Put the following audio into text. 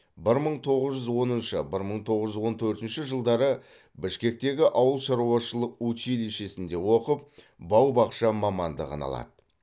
бір мың тоғыз жүз оныншы бір мың тоғыз жүз он төртінші жылдары бішкектегі ауыл шаруашылық училищесінде оқып бау бақша мамандығын алады